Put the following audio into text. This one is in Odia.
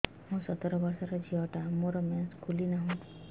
ମୁ ସତର ବର୍ଷର ଝିଅ ଟା ମୋର ମେନ୍ସେସ ଖୁଲି ନାହିଁ